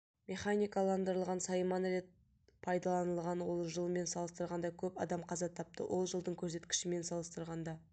механикаландырылған сайман рет пайдаланылған ол жылмен салыстырғанда көп адам қаза тапты ол жылдың көрсеткішімен салыстырғанда